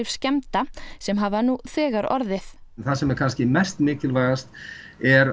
skemmda sem hafa nú þegar orðið en það sem er mest mikilvægast er